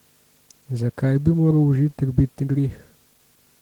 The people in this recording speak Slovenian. Zakaj bi moral užitek biti greh?